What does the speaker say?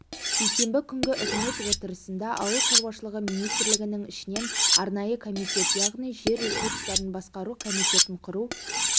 сейсенбі күнгі үкімет отырысында ауыл шаруашылығы министрлігінің ішінен арнайы комитет яғни жер ресурстарын басқару комитетін құру